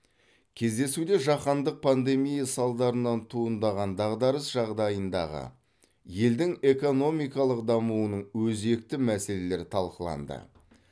кездесуде жаһандық пандемия салдарынан туындаған дағдарыс жағдайындағы елдің экономикалық дамуының өзекті мәселелері талқыланды